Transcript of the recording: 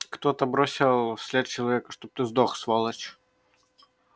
кто-то бросил вслед человека чтоб ты сдох сволочь